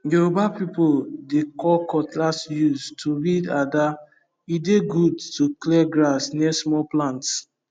yoruba people dey call cutlass use to weed ada e dey good to clear grass near small plants